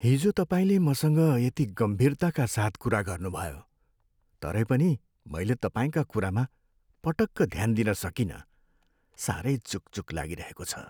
हिजो तपाईँले मसँग यति गम्भीरताका साथ कुरा गर्नुभयो, तरै पनि मैले तपाईँका कुरामा पटक्क ध्यान दिन सकिनँ। साह्रै चुकचुक लागिरहेको छ।